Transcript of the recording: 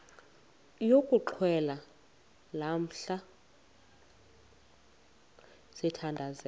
yokuxhelwa lamla sithandazel